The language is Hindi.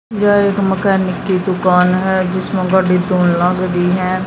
यह एक मैकेनिक की दुकान है जिसमें गड़ी तो लग रही है।